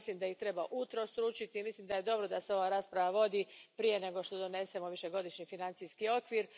Ja mislim da ih treba utrostručiti i mislim da je dobro da se ova rasprava vodi prije nego što donesemo Višegodišnji financijski okvir.